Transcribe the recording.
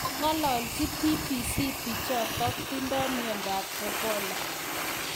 Kong'alalchi BBC bichotok tindoi miondo ab Ebola